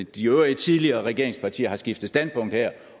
de øvrige tidligere regeringspartier har skiftet standpunkt her